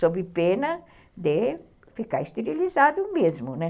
Sob pena de ficar esterilizado mesmo, né?